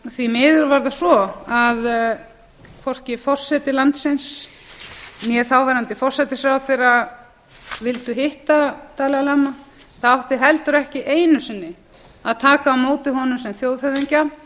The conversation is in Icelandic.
því miður var það svo að hvorki forseti landsins né þáverandi forsætisráðherra vildu hitta dalai lama það átti heldur ekki einu sinni að taka á móti honum sem þjóðhöfðingja